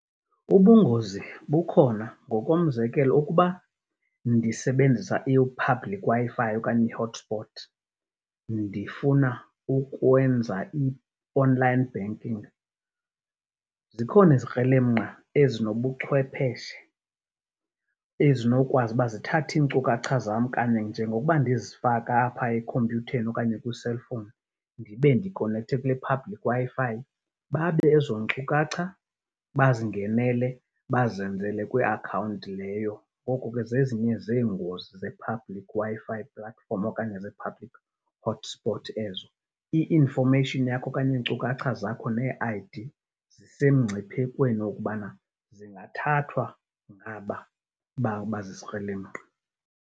Ubungozi bukhona. Ngokomzekelo ukuba ndisebenzisa i-public Wi-Fi okanye i-hotspot ndifuna ukwenza i-online banking, zikhona izikrelemnqa ezinobuchwepheshe ezinokwazi uba zithathe iinkcukacha zam kanye njengokuba ndizifaka apha ekhompyutheni okanye kwi-cellphone ndibe ndikonekthe kwi-public Wi-Fi, babe ezoo nkcukacha bazingenele, bazenzele kwiakhawunti leyo. Ngoko ke zezinye zeengozi ze-public Wi-Fi platform okanye zee-public hotspot ezo. I-information yakho okanye iinkcukacha zakho nee-I_D zisemngciphekweni wokubana zingathathwa ngaba bazizikrelemnqa.